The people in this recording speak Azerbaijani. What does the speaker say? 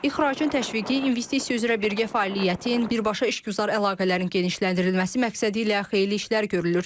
İxracın təşviqi, investisiya üzrə birgə fəaliyyətin, birbaşa işgüzar əlaqələrin genişləndirilməsi məqsədi ilə xeyli işlər görülür.